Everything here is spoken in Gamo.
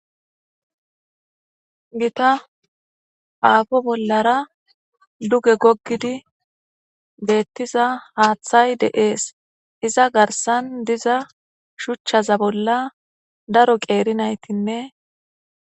gita aafo bollara duge gogidi beettiza haaththay deees iza garsan diza shuchchaza bolla daro qeeri naytinne